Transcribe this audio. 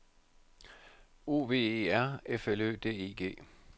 O V E R F L Ø D I G